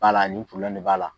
Bala ni de b'a la.